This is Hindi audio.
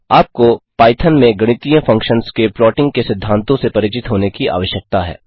आपको पाईथन में गणितीय फंक्शन्स के प्लॉटिंग के सिद्धांतों से परिचित होने की आवश्यकता है